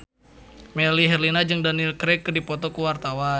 Melly Herlina jeung Daniel Craig keur dipoto ku wartawan